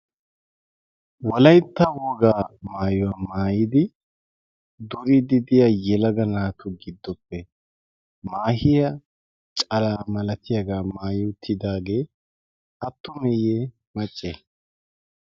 walaintta wogaa maayuwaa maayidi durididiya yelaga naatu giddoppe maahiya cala malatiyaagaa maayouttidaagee attumeeyye macce